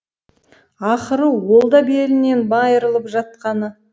ақыры ол да белінен майырылып жатқаны